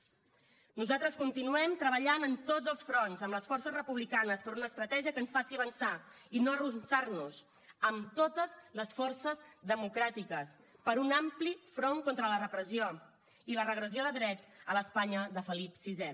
nosaltres continuem treballant en tots els fronts amb les forces republicanes per una estratègia que ens faci avançar i no arronsar nos amb totes les forces democràtiques per un ampli front contra la repressió i la regressió de drets a l’espanya de felip vi